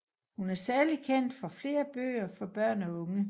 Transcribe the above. Hun er særlig kendt for flere bøger for børn og unge